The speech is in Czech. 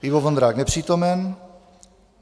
Ivo Vondrák: Nepřítomen.